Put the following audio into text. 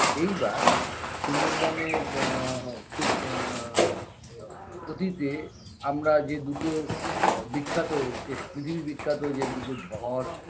এইবার সুন্দরবনের ব খুব আ আ অতীতে আমরা যে দুটো আ বিখ্যাত যে পৃথিবী বিখ্যাত যে দুটো ঝড়